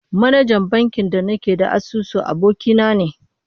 Manajan bankin da nake da asusu, aboki na ne